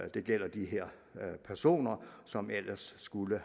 det gælder de her personer som ellers skulle